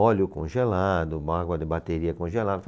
Óleo congelado, água de bateria congelada.